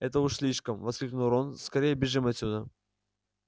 это уж слишком воскликнул рон скорее бежим отсюда